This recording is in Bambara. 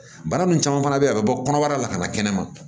Bana nunnu caman fana be yen a bi bɔ kɔnɔbara la ka na kɛnɛma